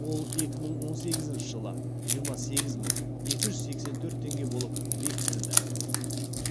ол екі мың он сегізінші жылы жиырма сегіз мың екі жүз сексен төрт теңге болып бекітілді